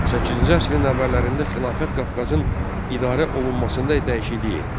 Səkkizinci əsrin əvvəllərində Xilafət Qafqazın idarə olunmasında dəyişikliyə etdi.